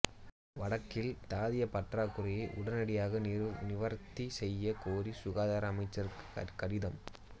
வடக்கில் தாதிய பற்றாக்குறையை உடனடியாக நிவர்த்தி செய்யக் கோரி சுகாதார அமைச்சருக்கு கடிதம்